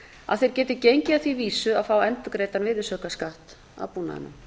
að þeir geti gengið að því vísu að fá endurgreiddan virðisaukaskatt af búnaðinum